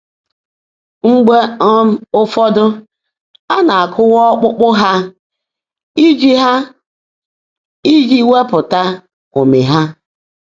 Mgbe um ụfọ́dụ́ á ná-ákụ́wá ọ́kpụ́kpụ́ há íjí há íjí weèpụ́tá ụ́mị́ há.